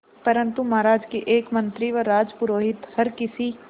परंतु महाराज के एक मंत्री व राजपुरोहित हर किसी